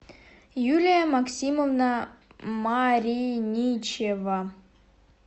юлия максимовна мариничева